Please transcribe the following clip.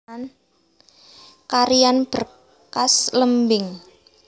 Carian Berkas lembing